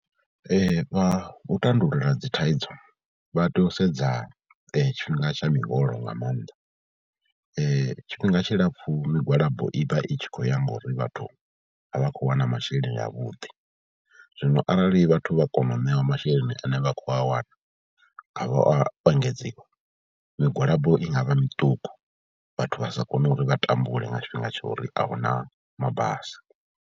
Vha u tandulula dzi thaidzo vha tea u sedza tshifhinga tsha miholo nga maanḓa, tshifhinga tshilapfhu migwalabo i vha i tshi khou ya ngauri vhathu a vha khou wana masheleni avhuḓi, zwino arali vhathu vha kona u ṋeiwa masheleni ane vha khou a wana a vha a engedziwa, migwalabo i nga vha miṱuku vhathu vha sa kone uri vha tambule nga tshifhinga tsha uri a hu na mabasi.